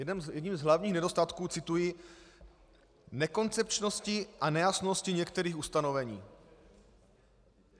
Jedním z hlavních nedostatků - cituji - nekoncepčnosti a nejasnosti některých ustanovení.